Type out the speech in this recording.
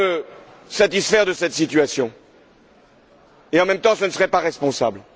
pourrais me satisfaire de cette situation mais, en même temps, ce ne serait pas responsable.